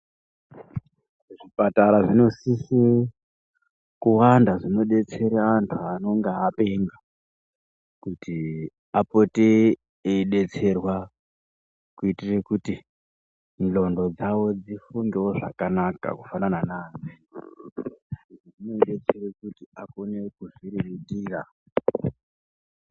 Zvipatara zvinosisa kuwanda zvinodetsera vantu vanenge vapenga kuti apote eidetserwa kuitira kuti ndxondo dzawo dzifunde zvakanaka kufanana nevamweni vagone kuzvirerutsira.